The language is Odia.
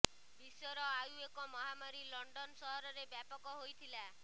ବିଶ୍ୱର ଆଉ ଏକ ମହାମାରୀ ଲଣ୍ଡନ ସହରରେ ବ୍ୟାପକ ହୋଇଥିଲା